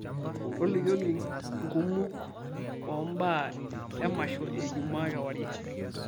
tolikioki nkumok oo mb aa e masho e ejumaa kewarie